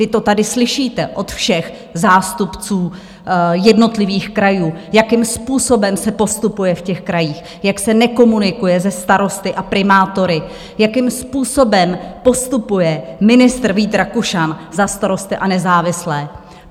Vy to tady slyšíte od všech zástupců jednotlivých krajů, jakým způsobem se postupuje v těch krajích, jak se nekomunikuje se starosty a primátory, jakým způsobem postupuje ministr Vít Rakušan za Starosty a nezávislé.